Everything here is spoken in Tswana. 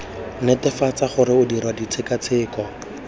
netefatsa gore o dirwa ditshekatsheko